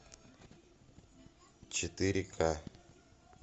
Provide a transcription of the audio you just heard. четыре ка